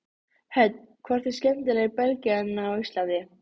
Hödd: Hvort er skemmtilegra í Belgíu en á Íslandi?